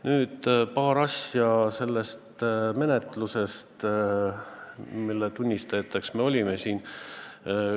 Nüüd paar asja selle menetluse kohta, mille tunnistajateks me siin olime.